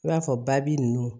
I b'a fɔ ba bi nunnu